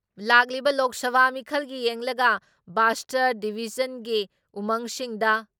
ꯂꯥꯛꯂꯤꯕ ꯂꯣꯛ ꯁꯚꯥ ꯃꯤꯈꯜꯒꯤ ꯌꯦꯡꯂꯒ ꯕꯥꯁꯇꯔ ꯗꯤꯚꯤꯖꯟꯒꯤ ꯎꯃꯪꯁꯤꯡꯗ